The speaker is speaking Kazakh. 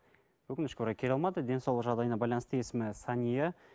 өкінішке орай келе алмады денсаулығы жағдайына байланысты есімі сәния